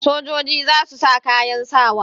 Sojoji za su sa kayan sawa.